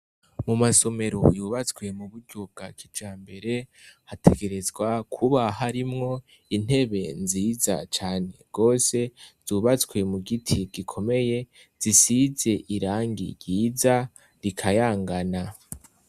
Mu masomero yubatswe mu buryo bwa kija mbere hategerezwa kuba hoarimwo intebe nziza cane rwose zubatswe mu giti gikomeye zisize irangi ryiza rikayangana.